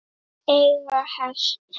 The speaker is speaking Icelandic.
Eiga hest.